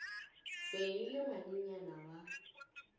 be e le ngwanenyana wa